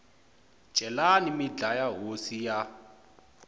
celani mi dlaya hosi ya